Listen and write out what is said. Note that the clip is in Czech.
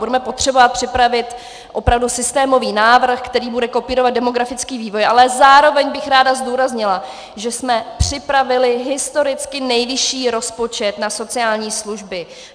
Budeme potřebovat připravit opravdu systémový návrh, který bude kopírovat demografický vývoj, ale zároveň bych ráda zdůraznila, že jsme připravili historicky nejvyšší rozpočet na sociální služby.